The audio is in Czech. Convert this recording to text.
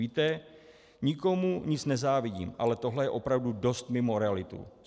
Víte, nikomu nic nezávidím, ale tohle je opravdu dost mimo realitu.